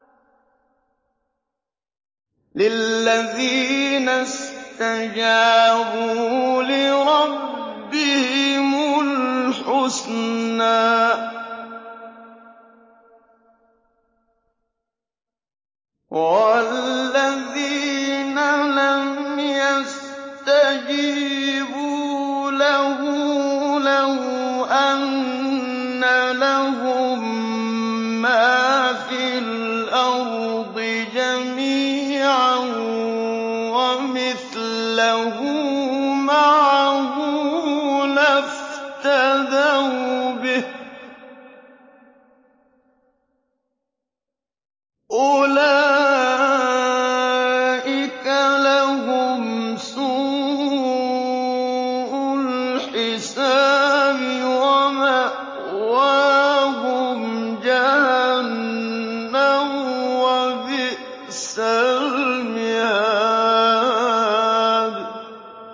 لِلَّذِينَ اسْتَجَابُوا لِرَبِّهِمُ الْحُسْنَىٰ ۚ وَالَّذِينَ لَمْ يَسْتَجِيبُوا لَهُ لَوْ أَنَّ لَهُم مَّا فِي الْأَرْضِ جَمِيعًا وَمِثْلَهُ مَعَهُ لَافْتَدَوْا بِهِ ۚ أُولَٰئِكَ لَهُمْ سُوءُ الْحِسَابِ وَمَأْوَاهُمْ جَهَنَّمُ ۖ وَبِئْسَ الْمِهَادُ